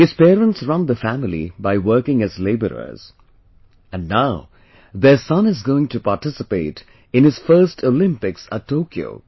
His parents run the family by working as labourers and now their son is going to participate in his first Olympics at Tokyo